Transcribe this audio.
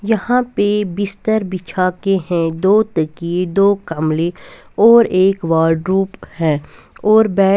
यहां पे बिस्तर बिछा के हैं दो ताकिये दो कमले और एक वार्डरोब है और बे--